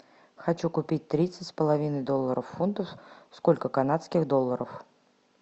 хочу купить тридцать с половиной долларов фунтов сколько канадских долларов